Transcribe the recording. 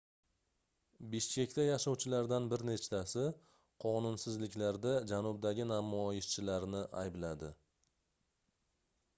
bishkekda yashovchilardan bir nechtasi qonunsizliklarda janubdagi namoyishchilarni aybladi